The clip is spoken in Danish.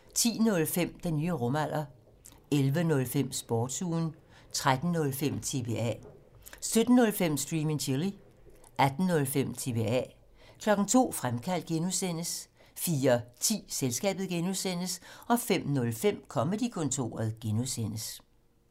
10:05: Den nye rumalder 11:05: Sportsugen 13:05: TBA 17:05: Stream and Chill 18:05: TBA 02:00: Fremkaldt (G) 04:10: Selskabet (G) 05:05: Comedy-kontoret (G)